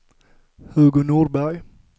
Hugo Nordberg